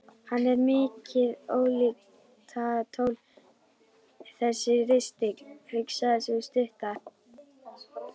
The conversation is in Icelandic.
Hann er mikið ólíkindatól þessi ristill, hugsaði sú stutta.